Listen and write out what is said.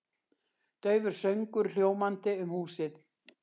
Daufur söngur hljómandi um húsið.